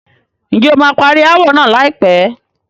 Ǹjẹ́ o máa parí ááwọ̀ náà láìpẹ́?